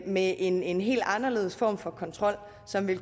med en en helt anderledes form for kontrol som i